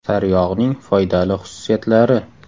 Sariyog‘ning foydali xususiyatlari.